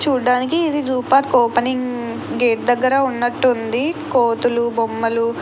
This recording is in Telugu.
చూడ్డానికి ఇది జూ పార్క్ ఓపెనింగ్ గేటు దగ్గర ఉన్నట్టుంది. కోతులు బొమ్మలు --